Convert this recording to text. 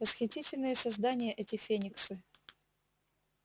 восхитительные создания эти фениксы